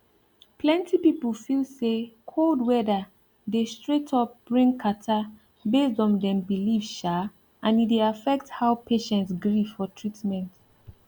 plenty people feel say cold weather dey straight up bring catarrh based on dem belief um and e dey affect how patient gree for treatment